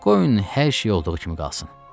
Qoyun hər şey olduğu kimi qalsın.